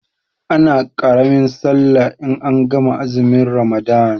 Ana ƙaramin sallah in an gama azumin ramadan